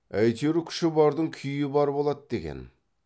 әйтеуір күші бардық күйі бар болады екен